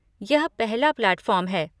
यह पहला प्लैटफॉर्म है।